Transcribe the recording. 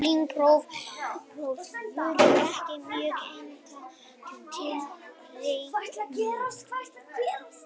Slík brot voru ekki mjög hentug til reikninga.